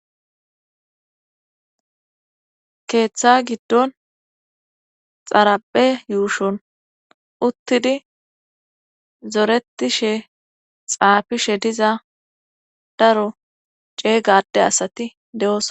keeththa giddon xarape yuushon uttidi zoretishe xaafishe diza daro ceega ade asati de'osona